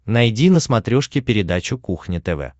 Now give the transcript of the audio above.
найди на смотрешке передачу кухня тв